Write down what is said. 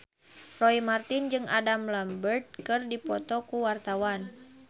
Roy Marten jeung Adam Lambert keur dipoto ku wartawan